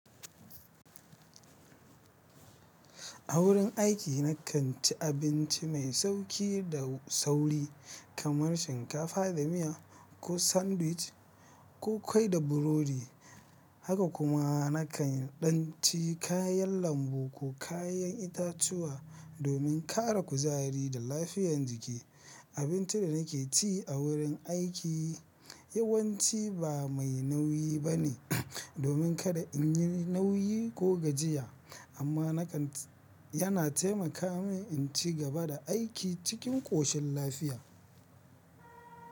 A wurin aiki na kan ci abinci mai sauƙi da sauri kamar shinkafa da miya ko sandwich ko ƙwai da burodi. Haka kuma na kan ɗan ci kayan lambu ko kayan itatuwa domin ƙara kuzari da lafiyar jiki. Abincin da na ke ci a wurin aiki yawanci ba mai nauyi ba ne domin kada in yi nauyi ko gajiya, amma na kan, yana taimaka min in ci gaba da aiki cikin ƙoshin lafiya.